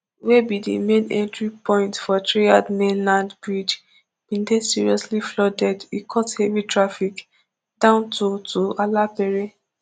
wey be di main entry point for threerd mainland bridge bin dey seriously flooded e cause heavy traffic down to to alapere